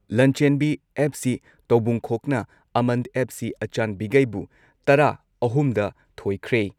ꯂꯟꯆꯦꯟꯕꯤ FC ꯇꯧꯕꯨꯡꯈꯣꯛꯅ ꯑꯃꯟ FC ꯑꯆꯥꯟꯕꯤꯒꯩꯕꯨ ꯇꯔꯥ ꯑꯍꯨꯝ ꯗ ꯊꯣꯏꯈ꯭ꯔꯦ ꯫